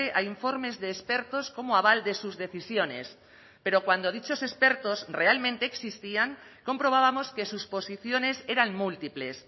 a informes de expertos como aval de sus decisiones pero cuando dichos expertos realmente existían comprobábamos que sus posiciones eran múltiples